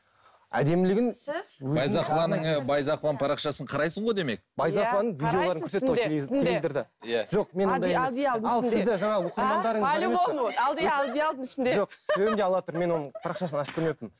әдемілігін байзақованың парақшасын қарайсың ғой демек мен оның парақшасын ашып көрмеппін